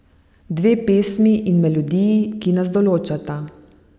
Dve pesmi in melodiji, ki nas določata.